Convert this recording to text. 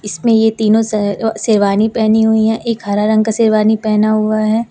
इसमें ये तीनों। श शेरवानी पहनी हुई है एक हरा रंग का शेरवानी पहना हुआ है।